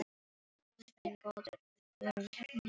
Guð minn góður, við vorum heppnir sagði hann.